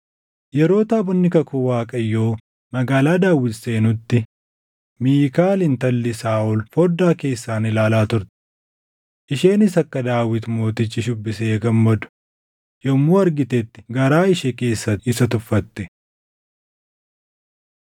Yeroo taabonni kakuu Waaqayyoo Magaalaa Daawit seenutti Miikaal intalli Saaʼol foddaa keessaan ilaalaa turte. Isheenis akka Daawit Mootichi shuubbisee gammadu yommuu argitetti garaa ishee keessatti isa tuffatte.